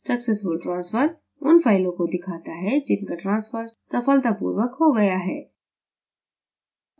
successful transfer – उन फ़ाइलों को दिखाता है जिनका transfer सफलतापूर्वक हो गया है